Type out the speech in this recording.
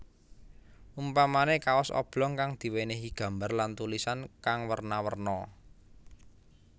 Umpamané kaos oblong kang diwénéhi gambar lan tulisan kang werna werna